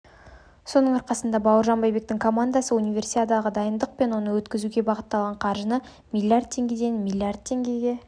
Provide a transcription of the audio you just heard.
соның арқасында бауыржан байбектің командасы универсиадағы дайындық пен оны өткізуге бағытталған қаржыны млрд теңгеден млрд теңгеге